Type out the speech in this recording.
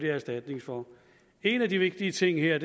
erstatning for en af de vigtige ting her